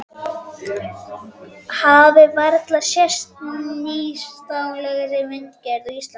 Hafi varla sést nýstárlegri myndgerð á Íslandi.